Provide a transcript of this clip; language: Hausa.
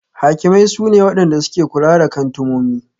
Hakimai su ne Wadanda suke kula da kantumomi.